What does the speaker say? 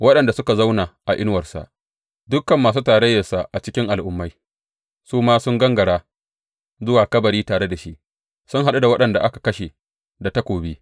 Waɗanda suka zauna a inuwarsa, dukan masu tarayyarsa a cikin al’ummai, su ma sun gangara zuwa kabari tare da shi, sun haɗu da waɗanda aka kashe da takobi.